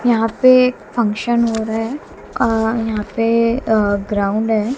यहां पे फंक्शन हो रहे हैं अह यहां पे अह ग्राउंड है।